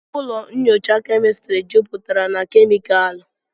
ụlọ nyocha kemịstri jupụtara na kemịkalụ